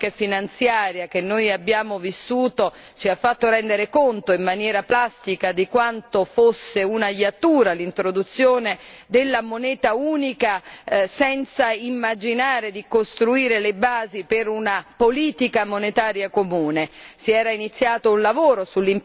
Purtroppo, la crisi economica e finanziaria che noi abbiamo vissuto ci ha fatto rendere conto in maniera pratica di quanto fosse una iattura l'introduzione della moneta unica senza immaginare di costruire le basi per una politica monetaria comune.